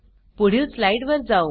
पुढील स्लाइड वर जाऊ